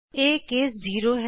ਇਹ ਕੇਸ 0 ਹੈ